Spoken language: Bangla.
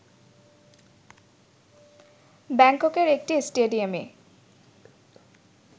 ব্যাংককের একটি স্টেডিয়ামে